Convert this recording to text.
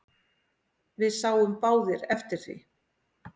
Við sáum báðir eftir því.